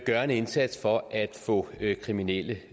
gør en indsats for at få kriminelle